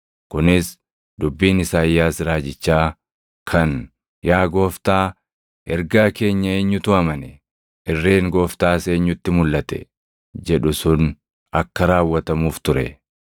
Kunis dubbiin Isaayyaas raajichaa kan: “Yaa Gooftaa, ergaa keenya eenyutu amane? Irreen Gooftaas eenyutti mulʼate?” + 12:38 \+xt Isa 53:1\+xt* jedhu sun akka raawwatamuuf ture.